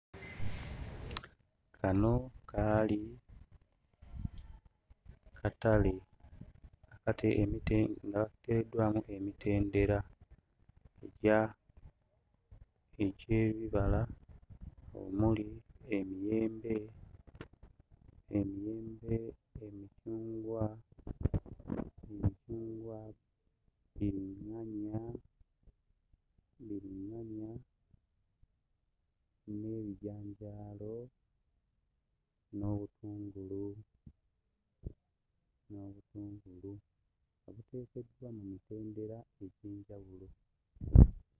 Kano kaali katale kati emite nga katereddwamu emitedera egya egy'ebibala omuli emiyembe, emiyembe, emicungwa, emicungwa, bbiriŋŋanya, bbiriŋŋanya n'ebijanjaalo n'obutungulu n'obutungulu nga biteekeddwa mu mitendera egy'enjawulo.